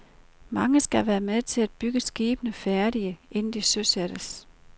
Mange skal være med til at bygge skibene færdige, inden de søsættes.